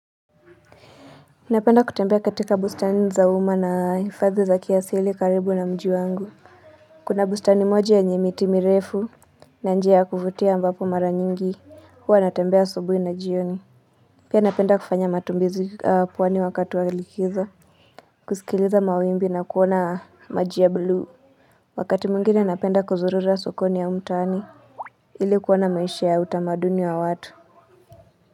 Napenda kutembea katika bustani za uma na hifadhi za kiasili karibu na mji wangu. Kuna bustani moja yenye miti mirefu. Na njia ya kuvutia ambapo mara nyingi huwa natembea asubuhi na jioni. Pia napenda kufanya matumbuizi pwani wakati wa likizo. Kusikiliza mawimbi na kuona maji ya blue. Wakati mwngine napenda kuzurura sokoni au mtaani ili kuona maisha ya utamaduni wa watu.